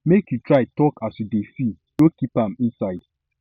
make you try tok as you dey feel no keep am inside